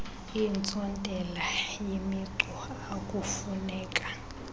iintsontela yemicu akufuneka